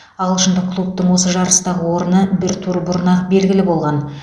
ағылшындық клубтың осы жарыстағы орны бір тур бұрын ақ белгілі болған